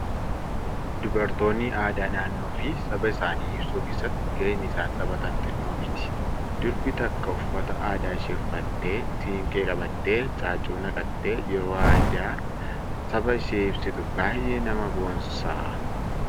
Dubartoonni aadaa naannoo fi saba isaanii ibsuu keessatti ga'een isaan taphatan xinnoo miti. Durbi takka uffata aadaa ishee uffattee, siinqee qabattee, caaccuu naqattee yeroo aadaa saba ishee ibsitu baay'ee nama boonsa.